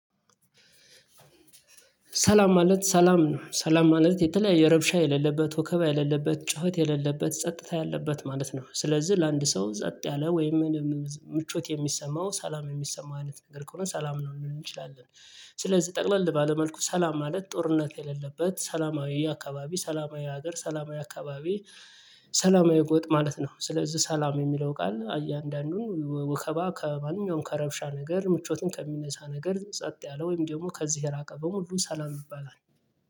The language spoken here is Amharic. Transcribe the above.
ሰላም ማለት ሰላም ሰላም ማለት የተለያየ ረብሻ የሌለበት ወከባ የሌለበት ጩኸት የሌለበት ጸጥታ ያለበት ማለት ነው። ስለዚህ ለአንድ ሰው ጸጥ ያለ ወይም ምን ምቾት የሚሰማው ሰላም የሚሰማው አይነት ነገር ከሆነ ሰላም ነው የምንለው እንችላለን። ስለዚህ ጠቅለል ባለ መልኩ ሰላም ማለት ጦርነት የሌለበት ሰላማዊ የአካባቢ ሰላማዊ ሀገር ሰላማዊ አካባቢ። ሰላማዊ ጎጥ ማለት ነው። ስለዚህ ሰላም የሚለው ቃል አያንዳንዱን ወከባ ከማንኛውም ከረብሻ ነገር ምቾትን ከሚነሳ ነገር ጸጥ ያለ ወይም ደግሞ ከዚህ የራቀ በሙሉ ሰላም ይባላል።